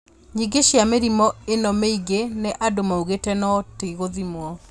Nyingĩ cia mĩrimũ ĩno mĩingĩ nĩ andũ maugĩte no ti gũthimwo